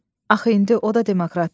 Axı indi o da demokratdır.